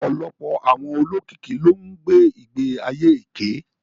Ọ̀pọ̀lọpọ̀ àwọn olókìkí ló ń gbé ìgbé ayé èké